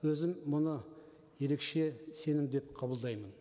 өзім мұны ерекше сенім деп қабылдаймын